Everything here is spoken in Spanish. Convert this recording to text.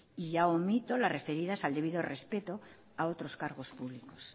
y ya omito las referidas al debido respeto a otros cargos públicos